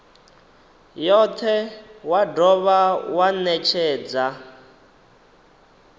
yothe wa dovha wa netshedza